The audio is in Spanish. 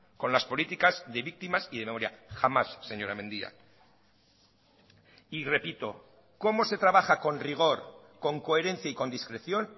con las políticas de víctimas y de memoria jamás señora mendia y repito cómo se trabaja con rigor con coherencia y con discreción